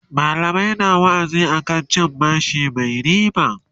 mallamai na wa'azi akan cin bashi Mai ribaa